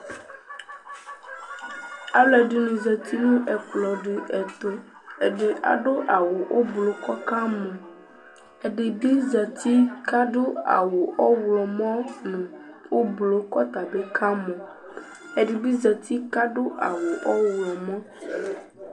Alʋɛdɩnɩ zati nʋ ɛkplɔ dɩ ɛtʋ Ɛdɩ adʋ awʋ ʋblʋ kʋ ɔkamɔ Ɛdɩ bɩ zati kʋc adʋ awʋ ɔɣlɔmɔ nʋ ʋblʋ kʋ ɔta bɩ ɔkamɔ Ɛdɩ bɩ zati kʋ adʋ awʋ ɔɣlɔmɔ